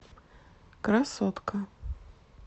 красотка